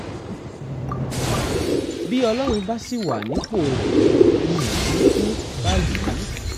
bí ọlọ́run bá sì wà nípò rẹ̀ mi ò ní í kú báyìí